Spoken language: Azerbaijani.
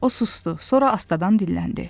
O susdu, sonra astadan dilləndi.